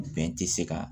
Bɛn ti se ka